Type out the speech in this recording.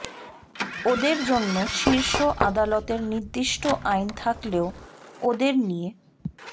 ওঁদের জন্য শীর্ষ আদালতের নির্দিষ্ট আইন থাকলেও ওঁদের নিয়ে